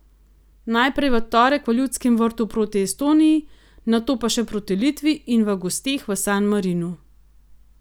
Najprej v torek v Ljudskem vrtu proti Estoniji, nato pa še proti Litvi in v gosteh v San Marinu.